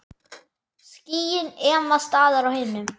Skýin ema staðar á himnum.